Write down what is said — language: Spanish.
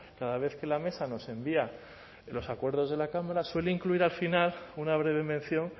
cada vez que la mesa nos envía los acuerdos de la cámara suele incluir al final una breve mención